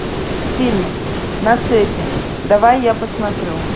фильм на цепи давай я посмотрю